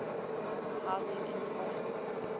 housing in spain